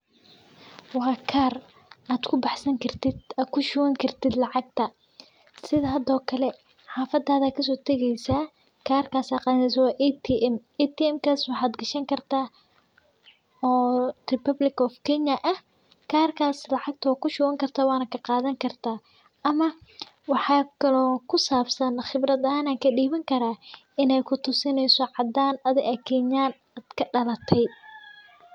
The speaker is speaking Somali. Waa kar ad kubaxsan kartid ad kushuban kartid lacagta sidi hado kale xafadada aya kasoo tageesa karkaas ad qadaneysa karkaas waa ATM, atmkas waxad gashani kartaa oo Republic of Kenya ah karkaas lacagta wa kushuban karta waba kaa qadani karta ama waxakalo kusabsan qibrad ahan an kadhiban karaa inay kutusineyso caadan ahan adiga Kenyan inad kadhalate